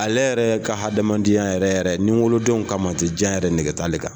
Ale yɛrɛ ka hadamadenyaya yɛrɛ yɛrɛ nin wolodenw kamati jan yɛrɛ nɛgɛgeta ale kan